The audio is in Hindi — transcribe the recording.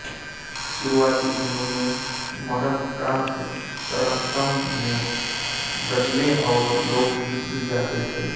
शुरुआती दिनों में अमरकान्त तरतम में ग़ज़लें और लोकगीत भी गाते थे